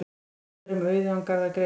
Gott er um auðugan garð að gresja.